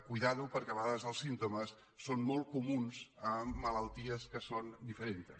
compte perquè a vegades els símptomes són molt comuns en malalties que són diferents